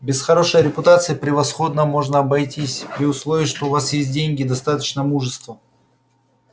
без хорошей репутации превосходно можно обойтись при условии что у вас есть деньги и достаточно мужества